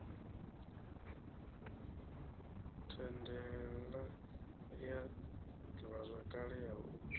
thandela ya ḓivhazwakale ya u